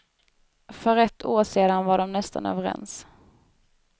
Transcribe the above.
För ett år sedan var de nästan överens.